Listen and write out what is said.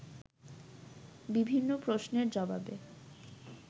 বিভিন্ন প্রশ্নের জবাবে